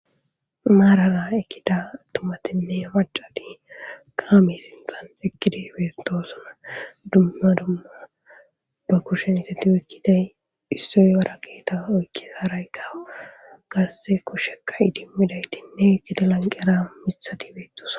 Maarara eqqida atumatine macati kame sinthan eqqidi beetosona dumma dumma ba kushen oyiqidayi wara geta oyiqidayi harayika qasika kusheka idimiday eta lanqiyara dosona